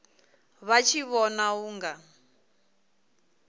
vha tshi vhona u nga